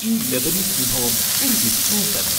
ഈ ലെബനീസ് വിഭവം ഒരു വിസ്മയം തന്നെ.